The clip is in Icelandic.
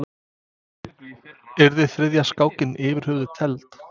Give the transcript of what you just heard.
Yrði þriðja skákin yfir höfuð tefld?